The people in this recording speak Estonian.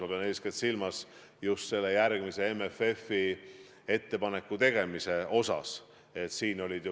Ma pean eeskätt silmas just ettepanekute tegemist järgmise MFF-i osas.